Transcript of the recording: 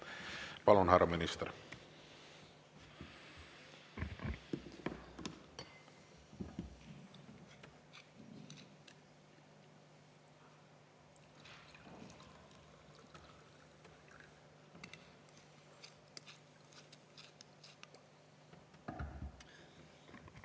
Palun, härra minister!